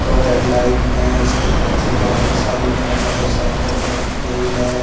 दो हेडलाइट है इसके पीछे बहुत सारी कार मोटरसाइकिलस रखी गई है।